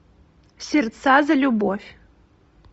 сердца за любовь